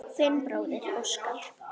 Þinn bróðir Óskar.